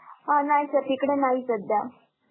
अह नाही sir नाही तिकडे सध्या.